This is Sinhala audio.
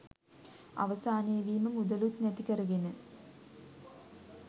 අවසානයේදී මුදලුත් නැති කරගෙන